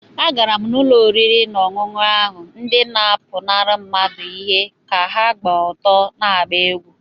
Agara m ụlọ oriri na ọṅụṅụ ahụ, ndị na-apụnara mmadụ ihe ka ha gba ọtọ na-agba egwú